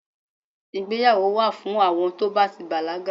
ìgbéyàwò wa fún àwọn to ba ti bàlágà